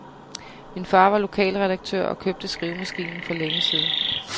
Min far var lokalredaktør og købte skrivemaskinen for længe siden.